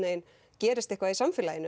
gerist eitthvað í samfélaginu